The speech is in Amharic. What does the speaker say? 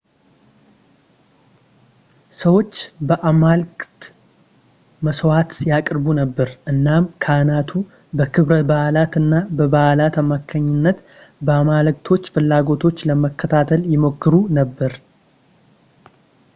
ሰዎች ለአማልክት መስዋእት ያቅርቡ ነበር እናም ካህናቱ በክብረ በዓላት እና በበዓላት አማካይነት ለአማልክቶች ፍላጎቶች ለመከታተል ይሞክሩ ነበር